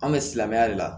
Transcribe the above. An bɛ silamɛya de la